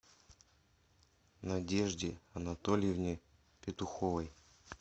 надежде анатольевне петуховой